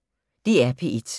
DR P1